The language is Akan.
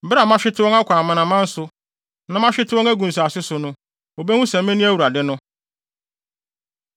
“Bere a mahwete wɔn akɔ amanaman so, na mahwete wɔn agu nsase so no, wobehu sɛ me ne Awurade no.